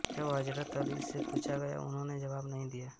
जब हजरत अली से पूछा गया उन्होंने जवाब नहीं दिया